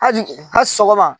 sɔgɔma.